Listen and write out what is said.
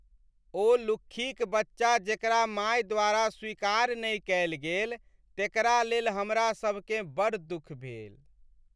ओ लुक्खीक बच्चा जेकरा माय द्वारा स्वीकार नहि कयल गेल तेकरा लेल हमरासभकेँ बड़ दुख भेल।